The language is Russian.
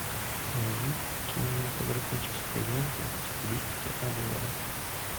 найди кинематографическую ленту в стилистике обзора